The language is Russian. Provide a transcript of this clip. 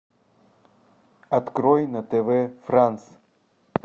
открой на тв франс